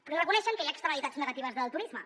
però reconeixen que hi ha externalitats negatives del turisme